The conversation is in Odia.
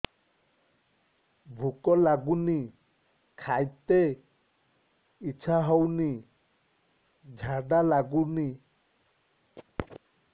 ଭୁକ ଲାଗୁନି ଖାଇତେ ଇଛା ହଉନି ଝାଡ଼ା ଲାଗୁନି